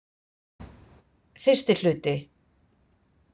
Fyrsti hluti